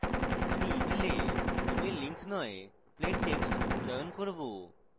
আমি email এ email link নয় plain text চয়ন করব